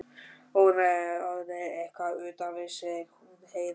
Hún var orðin eitthvað utan við sig, hún Heiða.